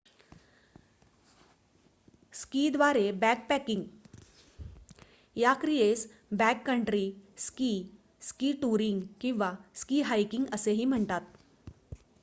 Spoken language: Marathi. स्कीद्वारे बॅकपॅकिंग या क्रियेस बॅककंट्री स्की स्की टूरिंग किंवा स्की हायकिंग असेही म्हणतात